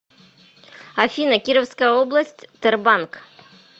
афина кировская область тербанк